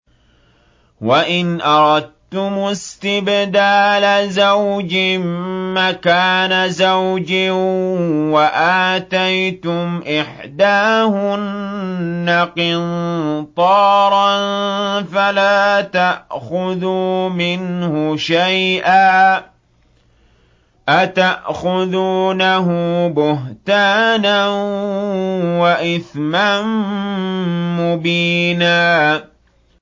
وَإِنْ أَرَدتُّمُ اسْتِبْدَالَ زَوْجٍ مَّكَانَ زَوْجٍ وَآتَيْتُمْ إِحْدَاهُنَّ قِنطَارًا فَلَا تَأْخُذُوا مِنْهُ شَيْئًا ۚ أَتَأْخُذُونَهُ بُهْتَانًا وَإِثْمًا مُّبِينًا